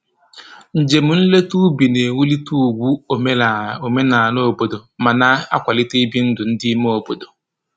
Njem nleta ubi na-ewulite ugwu omenala omenala obodo ma na-akwalitekwa ibi ndụ ndị ime obodo